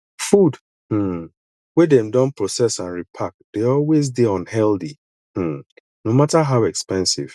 food um wey dem don process and repark dey always dey unhealthy um no matter how expensive